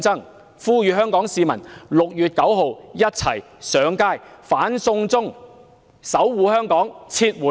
我呼籲香港市民 ：6 月9日一起上街"反送中"，守護香港，撤回惡法。